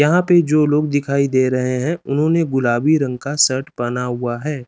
यहाँ पे जो लोग दिखाई दे रहे हैं उन्होंने गुलाबी रंग का शर्ट पहना हुआ है।